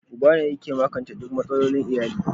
Uba ne yake magance duk matsalolin iyali.